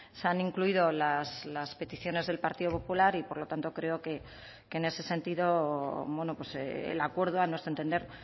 se han incluido las peticiones del partido popular y por lo tanto creo que en ese sentido el acuerdo a nuestro entender